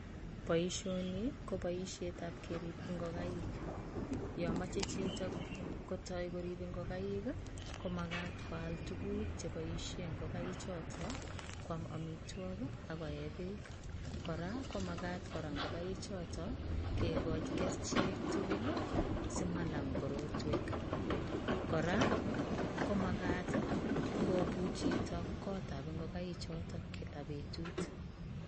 Boisioni ko boisiet ab keriib ingogaik yamechei chitoo koyai koriib ingogaik ii komagat koyaak tuguuk che boisieen ingogaik chotoon koyaam amitwagiik ako yeeh beek kora komagat kora ingogaik chotoon kegachii kercheek tuguul ii simanaam kora komagat ii kobuuch chitoo kota ab ingogaik chotoon kila betut.